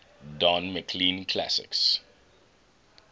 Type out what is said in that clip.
don mclean classics